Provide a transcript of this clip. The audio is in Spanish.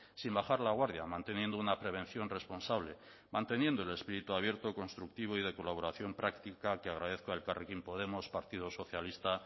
sin bajar la guardia manteniendo una prevención responsable manteniendo el espíritu abierto constructivo y de colaboración práctica que agradezco a elkarrekin podemos partido socialista